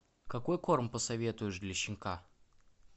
какой корм посоветуешь для щенка